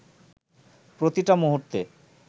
প্রতিটা মুহূর্তে